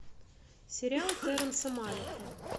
сериал терренса малика